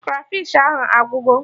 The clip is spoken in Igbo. Krafish ahụ agwụgo